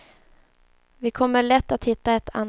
Vi kommer lätt att hitta ett annat.